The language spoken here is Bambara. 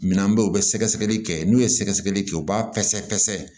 Minan bɛ yen u bɛ sɛgɛsɛgɛli kɛ n'u ye sɛgɛsɛgɛli kɛ u b'a pɛsɛ pɛsɛ